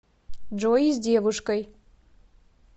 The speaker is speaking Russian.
джой с девушкой